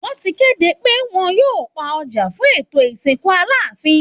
Wọ́n ti kéde pé wọ́n yóò pa ọjà fún ètò ìsìnkù Aláàfin